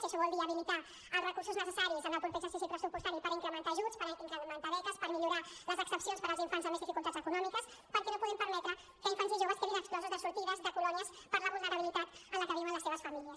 i això vol dir habilitar els recursos necessaris en el proper exercici pressupostari per incrementar ajuts per incrementar beques per millorar les exempcions per als infants amb més dificultats econòmiques perquè no podem permetre que infants i joves quedin exclosos de sortides de colònies per la vulnerabilitat en la que viuen les seves famílies